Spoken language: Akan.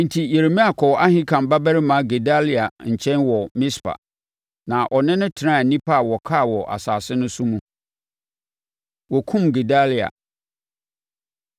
Enti, Yeremia kɔɔ Ahikam babarima Gedalia nkyɛn wɔ Mispa, na ɔne no tenaa nnipa a wɔkaa wɔ asase no so no mu. Wɔkum Gedalia